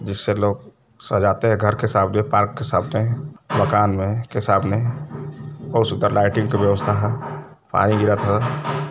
जिससे लोग सजाते हैं घर के सामने पार्क के सामने माकन में के सामने और सूंदर लाइटिंग की व्यवस्था है पानी गिरा था।